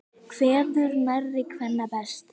Kveður nærri kvenna best.